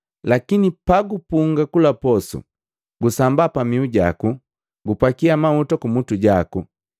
Lakini pagupunga kula posu, gusamba pamihu jaku, gupakia mahuta kumutu jaku,